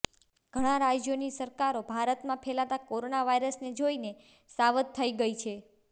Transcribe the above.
ઘણા રાજ્યોની સરકારો ભારતમાં ફેલાતા કોરોના વાયરસને જોઈને સાવધ થઈ ગઈ છે